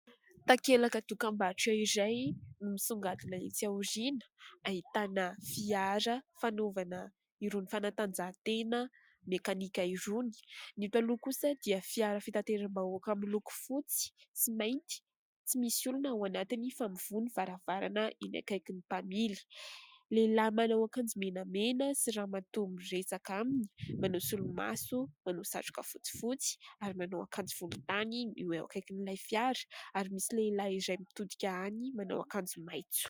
takelaka tokam-batro iray izay no misongadina entsi aoriana ahitana fiara fanaovana iroany fanantanjahan-tena mekanika irony ny eto aloha kosa dia fiara fitanteram-ba hoaka amin'ny loko fotsy tsy mainty tsy misy olona hao anatiny fa mivoha ny varavarana iny ankaikin'ny mpamily lehilahy manao ankanjomenamena sy ramatoa miresaka aminy manao solo maso manao satroka fotsy fotsy ary manao ankanjo volon-tany io eo ankaikin'ilay fiara ary misy lehilahy izay mitodika any manao ankanjo maintso